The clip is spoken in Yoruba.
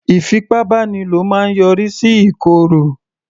Ìfipábánilo máa yọrí sí ìkòrò